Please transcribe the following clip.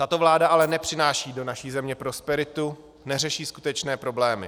Tato vláda ale nepřináší do naší země prosperitu, neřeší skutečné problémy.